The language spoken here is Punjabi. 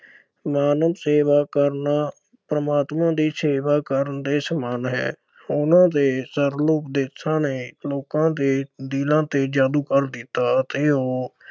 ਮਾਨਵ ਸੇਵਾ ਕਰਨਾ ਪ੍ਰਮਾਤਮਾ ਦੀ ਸੇਵਾ ਕਰਨ ਦੇ ਸਮਾਨ ਹੈ। ਉਨ੍ਹਾਂ ਦੇ ਸਰਲ ਉਪਦੇਸ਼ਾਂ ਨੇ ਲੋਕਾਂ ਦੇ ਦਿਲਾਂ ਤੇ ਜਾਦੂ ਕਰ ਦਿੱਤਾ ਅਤੇ ਉਹ